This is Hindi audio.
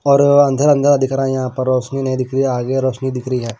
और अंधेरा अंधेरा दिख रहा है यहां पर रोशनी नहीं दिख रही आगे रोशनी दिख रही है।